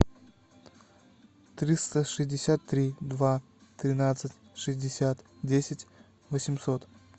триста шестьдесят три два тринадцать шестьдесят десять восемьсот